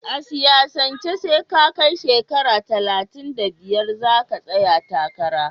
A siyasanke SE ka kai shekara talatin da biyar zaka tsaya takara